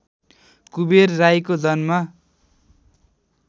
कुबेर राईको जन्म